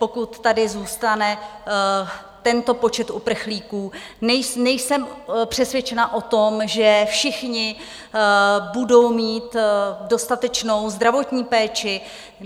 Pokud tady zůstane tento počet uprchlíků, nejsem přesvědčena o tom, že všichni budou mít dostatečnou zdravotní péči.